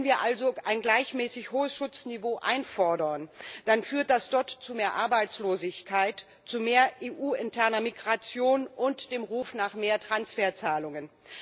Wenn wir also ein gleichmäßig hohes Schutzniveau einfordern, dann führt das dort zu mehr Arbeitslosigkeit, zu mehr EU interner Migration und dem Ruf nach mehr Transferzahlungen.